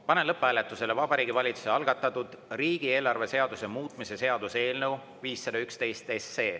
Panen lõpphääletusele Vabariigi Valitsuse algatatud riigieelarve seaduse muutmise seaduse eelnõu 511.